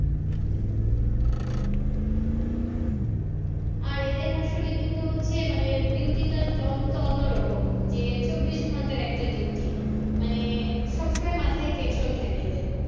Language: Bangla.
আর এদের আসলে কিন্তু হচ্ছে মানে duty টা অন~ অন্যরকম যে চব্বিশ ঘন্টার একটা duty মানে সবসময় মাথায় tension থাকে এদের